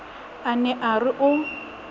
a ne a re o